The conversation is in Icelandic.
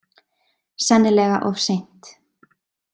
Sennilega of seint.